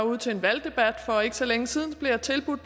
ude til en valgdebat for ikke så længe siden blev jeg tilbudt